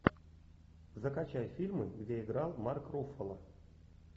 закачай фильмы где играл марк руффало